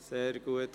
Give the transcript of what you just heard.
– Sehr gut.